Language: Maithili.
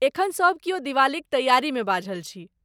एखन सब क्यौ दिवालीक तैआरीमे बाझल छी।